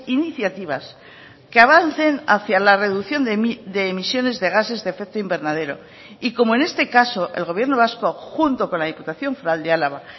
iniciativas que avancen hacia la reducción de emisiones de gases de efecto invernadero y como en este caso el gobierno vasco junto con la diputación foral de álava